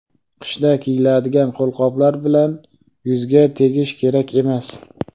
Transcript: Qishda kiyiladigan qo‘lqoplar bilan yuzga tegish kerak emas.